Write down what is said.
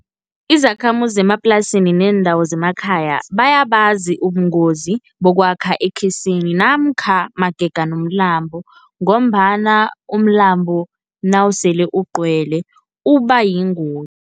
Izakhamuzi zemaplasini neendawo zemakhaya bayabazi ubungozi bokwakha ekhisini namkha magega nomlambo, ngombana umlambo nawusele ugcwele uba yingozi.